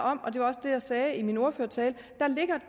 om og det var også det jeg sagde i min ordførertale